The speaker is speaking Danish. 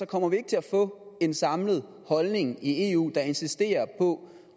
kommer vi ikke til at få en samlet holdning i eu der insisterer på